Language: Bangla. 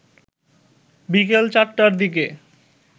বিকেল চারটার দিকে